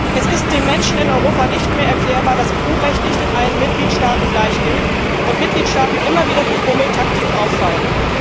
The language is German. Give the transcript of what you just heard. Es ist den Menschen in Europa nicht mehr erklärbar, dass EU Recht nicht in allen Mitgliedstaaten gleich gilt und einige Mitgliedstaaten immer wieder durch Verzögerungstaktik auffallen.